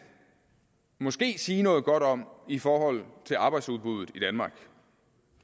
måske sige noget godt om i forhold til arbejdsudbuddet i danmark